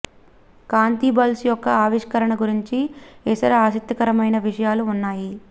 కాంతి bulb యొక్క ఆవిష్కరణ గురించి ఇతర ఆసక్తికరమైన విషయాలు ఉన్నాయి